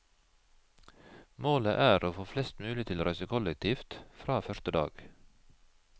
Målet er å få flest mulig til å reise kollektivt fra første dag.